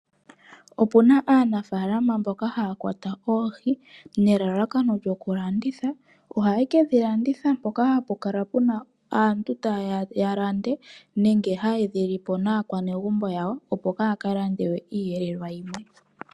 Opuna aanafaalama mboka haya kwata oohi nelelakano lyoku landitha. Ohaye ke dhi landitha mpoka ha pu kala puna aantu tayeya ya lande nenge ha ye dhi lipo naakwanegumbo yawo opo kaaya ka lande we iiyelelwa yimwe.